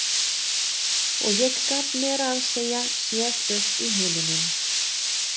Og ég gat meira að segja séð upp í himininn.